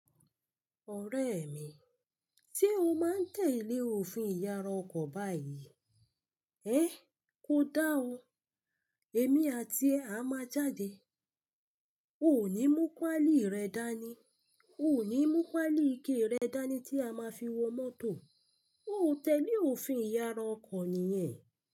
Ọ̀rẹ́ mi, se ó máa ń tẹ́ lé òfin ìyára ọkọ̀ báyìí. Eh ko da ọ, èmi àti ẹ á máa jáde. Ó ò ní mú páálì rẹ dání, o ò ní mú páálì ike rẹ dání tí a máa fi wo mọ́tò. Óò tẹ́lé òfin ìyára ọkọ̀ nìyẹn.